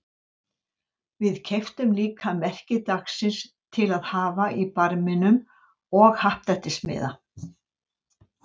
Við keyptum líka merki dagsins til að hafa í barminum og happdrættismiða.